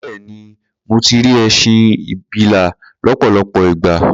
Bẹ́ẹ̀ni, mo ti rí ẹṣin abilà lọ́pọ̀lọpọ̀ ìgbà.